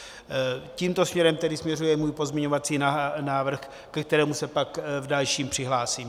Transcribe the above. Tímto směrem tedy směřuje můj pozměňovací návrh, ke kterému se pak v dalším přihlásím.